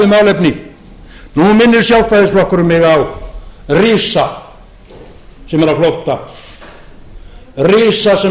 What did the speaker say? málefni nú minnir sjálfstæðisflokkurinn mig á risa sem er á flótta risa sem